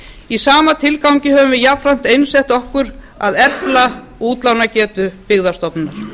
í sama tilgangi höfum við jafnframt einsett okkur að efla útlánagetu byggðastofnunar